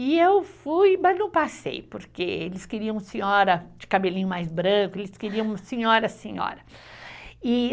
E eu fui, mas não passei, porque eles queriam senhora de cabelinho mais branco, eles queriam senhora, senhora.